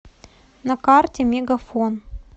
на карте мегафон